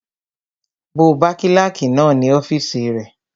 Mo bá kílàkì náà ní ọ́fìsì rẹ